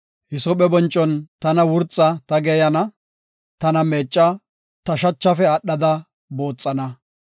Hisoophe boncon tana wurxa; ta geeyana; tana meecca; ta shachafe aadhada booxana.